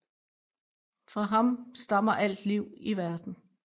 Fra ham stammer alt liv i verden